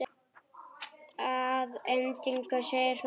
Að endingu segir hún